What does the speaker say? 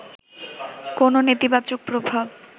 কোন নেতিবাচক প্রভাব